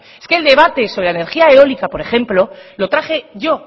es que el debate de la energía eólica por ejemplo lo traje yo